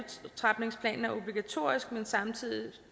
at er obligatorisk men samtidig